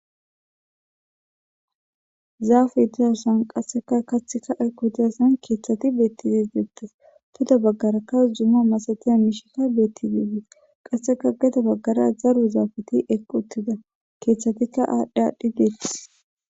Zaafu dizasan qasseka kattheka equ dezassan keeththati beetti dis deettes tuda baggarakka jumma masatiya miishikka beetti diides qasseka gedo baggara zaru zaafeti eqqu uttida keeththatikka aadhdhi aadhdhi deettis.